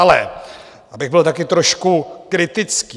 Ale abych byl taky trošku kritický.